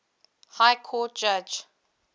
high court judge